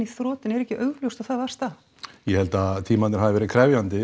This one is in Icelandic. í þrot en er ekki augljóst að það var staðan ég held að tímarnir hafi verið krefjandi